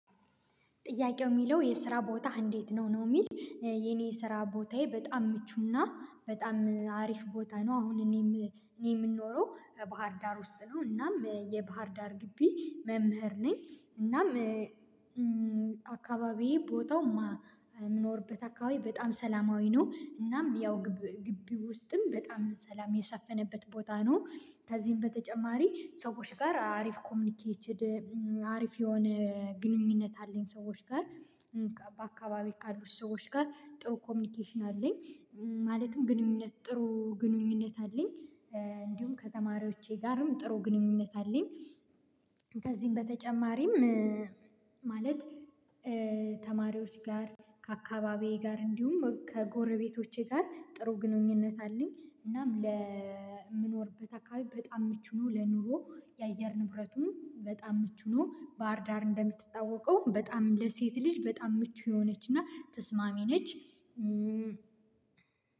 ጥያቄው የሚለው የስራ ቦታህ እንዴት ነው? ነው የሚል የኔ ስራ ቦታዬ በጣም ምቹና በጣም አሪፍ ቦታ ነው አሁን እኔ የምኖረው ባህር ዳር ውስጥ ነው እናም የባህር ዳር ግቢ መምህር ነኝ። እናም አካባቢዬ ቦታው የምኖርበት አካባቢ በጣም ሰላማዊ ነው። እናም ያው ግቢ ውስጥም በጣም ሰላም የሰፈነበት ቦታ ነው። ከዚህም በተጨማሪ ሰዎች ጋር አሪፍ ኮሚኒኬትድ። አሪፍ የሆነ ግንኙነት አለኝ ሰዎች ጋር። በአካባቢ ካሉት ሰዎች ጋር ጥሩ ኮሚኒኬሽን አለኝ። ማለትም ግንኙነት ጥሩ ግንኙነት አለኝ። እንዲሁም ከተማሪዎቼ ጋርም ጥሩ ግንኙነት አለኝ። ከዚህም በተጨማሪም ማለት ተማሪዎች ጋር ከአካባቢዬ ጋር እንዲሁም ከጎረቤቶቼ ጋር ጥሩ ግንኙነት አለኝ። እናም ለምኖርበት አካባቢ በጣም ምቹ ነው። ለኑሮ የአየር ንብረቱም በጣም ምቹ ነው። ባህር ዳር እንደምትታወቀው በጣም ለሴት ልጅ በጣም ምቹ የሆነችና ተስማሚ ነች።